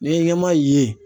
N'i ye ɲɛma ye